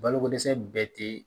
Balokodɛsɛ bɛɛ tɛ